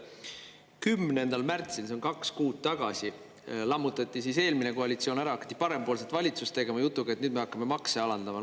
10. märtsil, see on kaks kuud tagasi, lammutati eelmine koalitsioon ära, hakati parempoolset valitsust tegema jutuga, et nüüd me hakkame makse alandama.